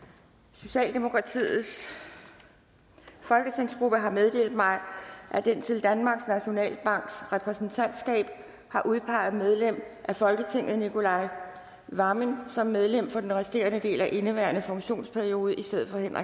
socialdemokratiets folketingsgruppe har meddelt mig at den til danmarks nationalbanks repræsentantskab har udpeget medlem af folketinget nicolai wammen som medlem for den resterende del af indeværende funktionsperiode i stedet